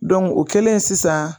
Dɔn o kɛlen sisan